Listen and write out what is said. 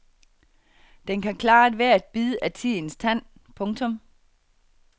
Den kan klare ethvert bid af tidens tand. punktum